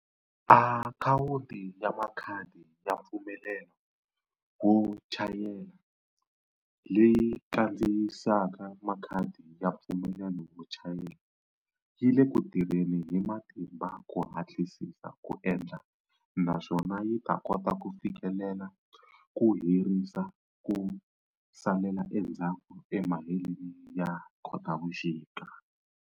Akhawuti ya Makhadi ya mpfumelelo wo chayela, leyi kandziyisaka makhadi ya mpfumelelo wo chayela, yi le ku tirheni hi matimba ku hatlisisa ku endla naswona yi ta kota ku fikelela ku herisa ku salela endzhaku emaheleni ya Khotavuxika.